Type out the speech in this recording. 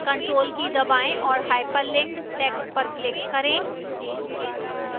ctrl की दबाएं और hyperlinked text पर click करें